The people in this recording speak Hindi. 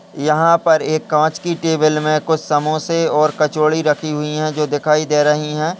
यहाँं पर एक कांच की टेबल में कुछ समोसे और कचोरी रखी हुई हैं जो दिखाई दे रही हैं।